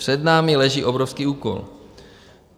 Před námi leží obrovský úkol.